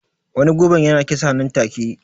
Wani gubar ya na kisa nan take